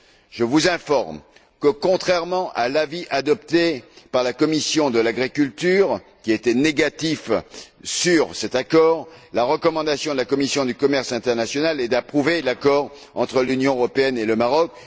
Je vous informe que, contrairement à l'avis adopté par la commission de l'agriculture, qui était négatif sur cet accord, la recommandation de la commission du commerce international est d'approuver l'accord entre l'Union européenne et le Maroc.